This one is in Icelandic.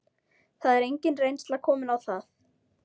Það er engin reynsla komin á það.